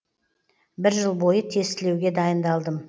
бір жыл бойы тестілеуге дайындалдым